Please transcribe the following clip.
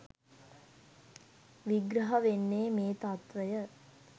විග්‍රහ වෙන්නේ මේ තත්ත්වය.